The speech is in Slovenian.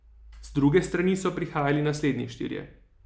Z druge strani so prihajali naslednji štirje.